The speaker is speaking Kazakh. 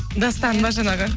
дастан ба жаңағы